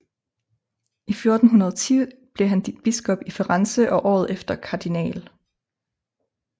I 1410 blev han biskop i Firenze og året efter Kardinal